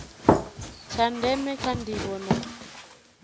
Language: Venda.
tsha ndeme kha ndivho na